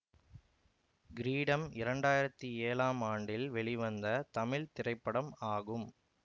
கிரீடம் இரண்டாயிரத்தி ஏழாம் ஆண்டில் வெளிவந்த தமிழ் திரைப்படம் ஆகும்